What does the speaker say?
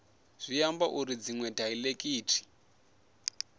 zwi ambi uri dziṅwe daiḽekithi